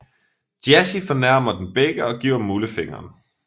Jazzy fornærmer dem begge og giver Mulle fingeren